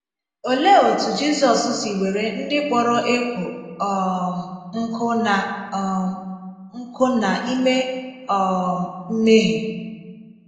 Òlee otú Jizọs si wèrè ndị kpọrọ ékwò um nkụ̀ na um nkụ̀ na - ime um mmèhie?